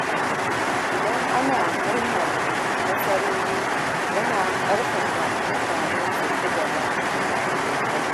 Idan ana murnar nasarori, yana ƙarfafa mutane su ci gaba da ƙoƙari.